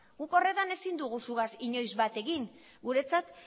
guk horretan ezin dugu zugaz inoiz bat egin guretzat